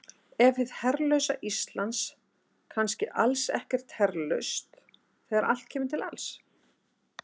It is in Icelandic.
Er hið herlausa Ísland kannski alls ekkert herlaust þegar allt kemur til alls?